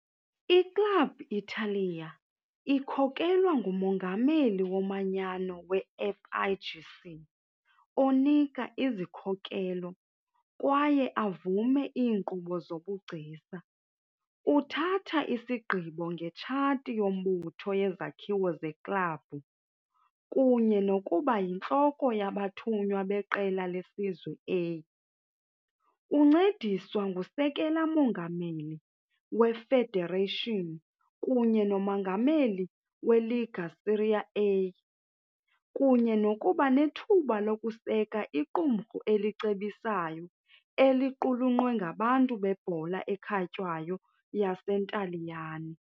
I-Club Italia ikhokelwa ngumongameli womanyano we- FIGC, onika izikhokelo kwaye avume iinkqubo zobugcisa, uthatha isigqibo ngetshathi yombutho yezakhiwo zeklabhu, kunye nokuba yintloko yabathunywa beqela lesizwe A. Uncediswa ngusekela-mongameli we-federation kunye nomongameli we- Lega Serie A, kunye nokuba nethuba lokuseka iqumrhu elicebisayo eliqulunqwe ngabantu bebhola ekhatywayo yaseNtaliyane.